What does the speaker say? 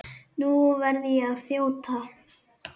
Nú verð ég að þjóta.